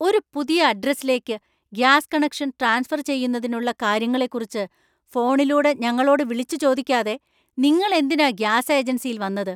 ഒരു പുതിയ അഡ്രസ്സിലേക്ക് ഗ്യാസ് കണക്ഷൻ ട്രാൻസ്ഫർ ചെയ്യുന്നതിനുള്ള കാര്യങ്ങളെക്കുറിച്ച് ഫോണിലൂടെ ഞങ്ങളോട് വിളിച്ചു ചോദിക്കാതെ നിങ്ങൾ എന്തിനാ ഗ്യാസ് ഏജൻസിയിൽ വന്നത്?